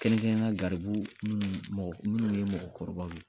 Kɛrɛnkɛrɛnnenya garibu minnu mɔgɔ minnu ye mɔgɔkɔrɔbaw ye,